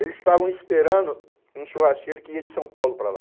Eles estavam esperando um churrasqueiro que ia de São Paulo para lá.